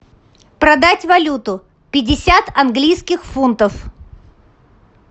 продать валюту пятьдесят английских фунтов